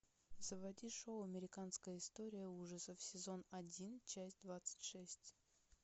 заводи шоу американская история ужасов сезон один часть двадцать шесть